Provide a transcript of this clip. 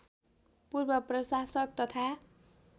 पूर्व प्रशासक तथा